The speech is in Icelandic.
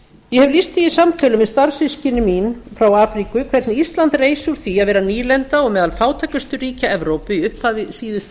ég hef lýst því í samtölum við starfssystkini mín frá afríku hvernig ísland reis úr því að vera nýlenda og meðal fátækustu ríkja evrópu í upphafi síðustu